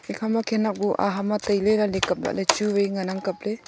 hikhama khanak buh ahama tailay lik kabla ley chu vai nganang kabley.